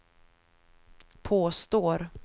påstår